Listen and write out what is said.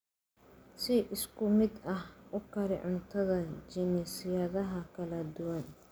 Si isku mid ah u kari cuntada jinsiyadaha kala duwan.